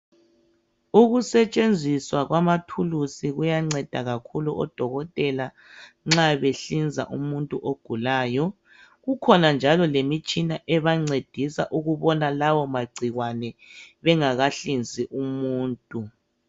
Ukusetshenziswa kwamathulusi kuyanceda kakhulu odokotela nxa behlinza umuntu ogulayo. Kukhona njalo lemisthina ebancedisa ukubona lawo magcikwane bengakahlinzi umuntu.